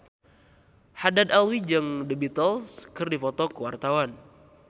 Haddad Alwi jeung The Beatles keur dipoto ku wartawan